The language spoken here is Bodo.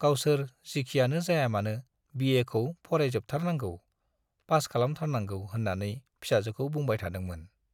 गावसोर जिखियानो जाया मानो बिएखौ फरायजोंबथारनांगौ, पास खालामथारनांगौ होन्नानै फिसाजोखौ बुंबाय थादोंमोन।